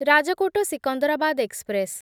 Rajkot Secunderabad express